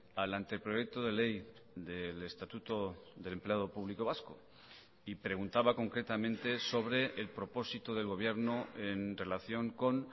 al anteproyecto de ley del estatuto del empleado público vasco y preguntaba concretamente sobre el propósito del gobierno en relación con